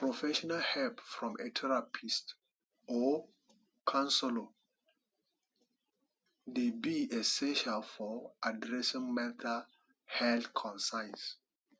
professional help from a therapist or counselor dey be essential for addressing mental health concerns